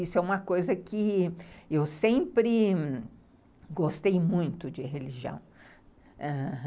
Isso é uma coisa que eu sempre gostei muito de religião.